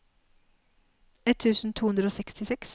ett tusen to hundre og sekstiseks